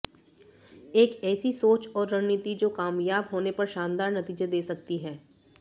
एक ऐसी सोच और रणनीति जो कामयाब होने पर शानदार नतीजे दे सकती है